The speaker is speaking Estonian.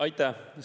Aitäh!